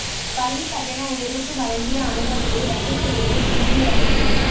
பள்ளிக் கட்டண உயர்வுக்கு வழங்கிய அனுமதியை ரத்து செய்தது தில்லி அரசு